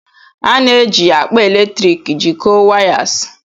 A na-eji akpa eletrik jikọọ wires.